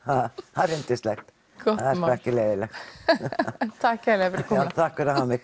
það er yndislegt það er sko ekki leiðinlegt takk kærlega fyrir komuna já takk fyrir mig